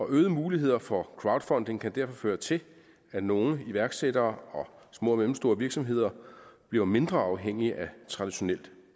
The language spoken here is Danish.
øgede muligheder for crowdfunding kan derfor føre til at nogle iværksættere og små og mellemstore virksomheder bliver mindre afhængige af traditionel